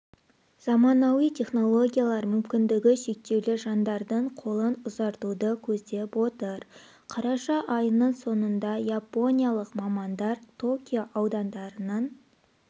заманауи технологиялар мүмкіндігі шектеулі жандардың қолын ұзартуды көздеп отыр қараша айының соңында япониялық мамандар токио аудандарының